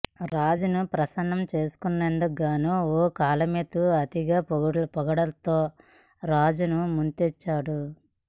రాజును ప్రసన్నం చేసుకొనేందుకు గాను ఓ కాలమిస్టు అతిగా పొగడ్తలతో రాజును ముంచెత్తాడు